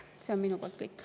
See on minu poolt kõik.